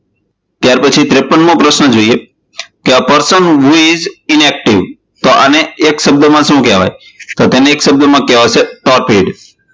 સત્તાવન મો પ્રશ્ન જોઈએ કે a person who is in active તો અને એક શબ્દ માં શું કહેવાય તો તેને એક શબ્દ માં કહેવાશે